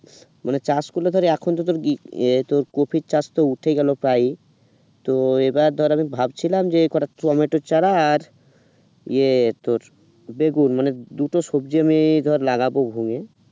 মানে চাষ করলে ধর এখন তোদেরই এ তোর কপির চাস তো উঠে গেল প্রায় তো এবার ধর আমি ভাবছিলাম যে কটা টমেটো চারা আর এ তোর বেগুন মানে দুটো সবজি আমি ধর লাগাবো ভুঙ্গে